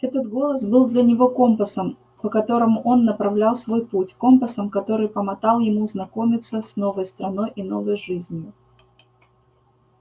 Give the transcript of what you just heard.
этот голос был для него компасом по которому он направлял свой путь компасом который помотал ему знакомиться с новой страной и новой жизнью